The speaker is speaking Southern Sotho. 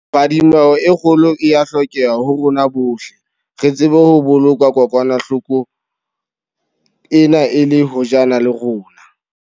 Phadimeho e kgolo e a hlokeha ho rona bohle, re tsebe ho boloka kokwanahlo ko ena e le hojana le rona.